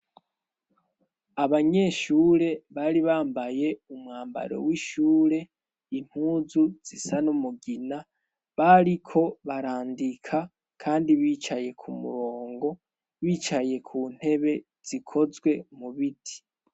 Abanyeshure bari bambaye umwambaro w'ishure, impuzu zisa n'umugina. Bariko barandika kandi bicaye k'umurongo, bicaye ku ntebe zikozwe mu biti.